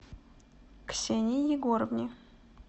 ксении егоровне